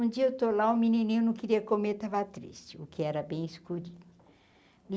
Um dia eu estou lá, o menininho não queria comer, estava triste, o que era bem escurinho.